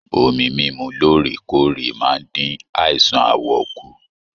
Omí mímú lóòrèkóòrè máa n dín àìsàn aawọ kù.